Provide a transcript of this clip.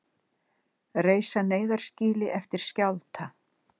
Reisa neyðarskýli eftir skjálfta